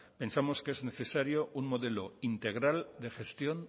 pensamos que es necesario un modelo integral de gestión